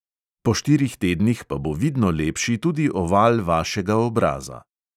Po štirih tednih pa bo vidno lepši tudi oval vašega obraza.